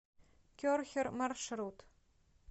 керхер маршрут